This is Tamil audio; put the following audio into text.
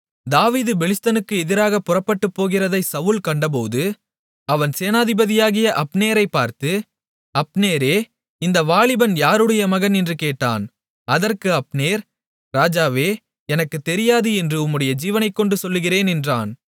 தாவீது பெலிஸ்தனுக்கு எதிராகப் புறப்பட்டுப் போகிறதை சவுல் கண்டபோது அவன் சேனாதிபதியாகிய அப்னேரைப் பார்த்து அப்னேரே இந்த வாலிபன் யாருடைய மகன் என்று கேட்டான் அதற்கு அப்னேர் ராஜாவே எனக்குத் தெரியாது என்று உம்முடைய ஜீவனைக்கொண்டு சொல்லுகிறேன் என்றான்